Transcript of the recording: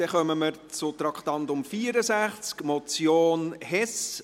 Damit kommen wir zu Traktandum 64, Motion Hess: